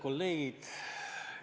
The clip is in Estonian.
Kolleegid!